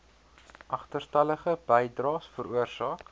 agterstallige bydraes veroorsaak